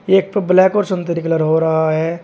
एक प ब्लैक और सिंधूरी कलर हो रहा है।